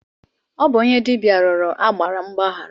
Ọ bụ onye dibịa rịọrọ agbara mgbaghara.